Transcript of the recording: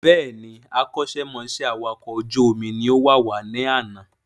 Bẹ́ẹ̀ni, akọ́ṣẹ́ mọṣẹ́ awàkọ̀ ojú omi ni ó wàwá ní àná